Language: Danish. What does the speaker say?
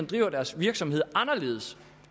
driver deres virksomhed anderledes